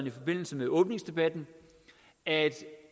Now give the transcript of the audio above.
i forbindelse med åbningsdebatten at